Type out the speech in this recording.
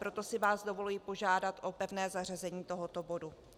Proto si vás dovoluji požádat o pevné zařazení tohoto bodu.